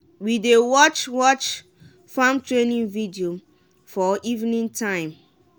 we dey watch watch farm training video for evening time.